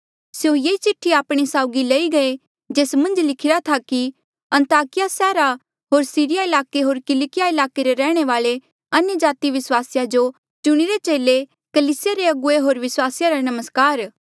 स्यों ये चिठ्ठी आपणे साउगी लेई गये जेस मन्झ लिखिरा था कि अन्ताकिया सैहरा होर सीरिया ईलाके होर किलकिया ईलाके रे रैहणे वाले अन्यजाति विस्वासिया जो चुणिरे चेले कलीसिया रे अगुवे होर विस्वासिया रा नमस्कार